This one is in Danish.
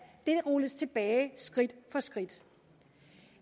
rulles tilbage skridt for skridt